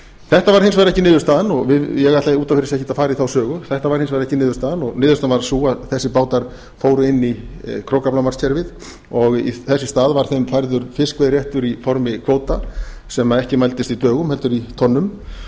þetta varð hins vegar ekki niðurstaðan og ég ætla út af fyrir sig ekkert að fara í þá sögu þetta varð hins vegar ekki niðurstaðan niðurstaðan varð sú að þessir bátar fóru inn í krókaflamarkskerfið og þess í stað var þeim færður fiskveiðiréttur í formi kvóta sem ekki mældist í dögum heldur í tonnum